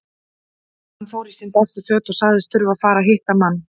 Hann fór í sín bestu föt og sagðist þurfa að fara og hitta mann.